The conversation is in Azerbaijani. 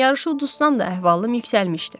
Yarışı uduzsam da əhvalım yüksəlmişdi.